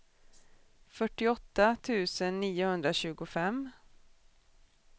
fyrtioåtta tusen niohundratjugofem